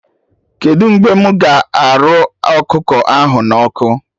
Kedụ mgbe mụ ga arụ ọkụkọ ahụ na ọkụ?